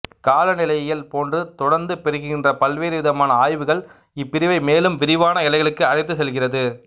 காலநிலையியல் போன்று தொடர்ந்து பெருகின்ற பல்வேறு விதமான ஆய்வுகள் இப்பிரிவை மேலும் விரிவான எல்லைகளுக்கு அழைத்துச் செல்கிறது